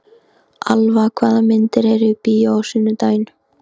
Alfa, hvaða myndir eru í bíó á sunnudaginn?